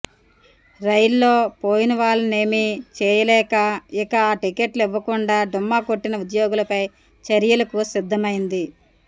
రైల్లో పోయినవాళ్లనేమీ చేయలేక ఇక ఆ టికెట్లు ఇవ్వకుండా డుమ్మా కొట్టిన ఉద్యోగులపై చర్యలకు సిద్ధమైంది